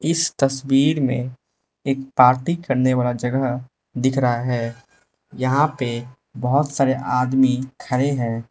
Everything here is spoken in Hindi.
इस तस्वीर में एक पार्टी करने वाला जगह दिख रहा है यहां पे बहुत सारे आदमी खड़े हैं।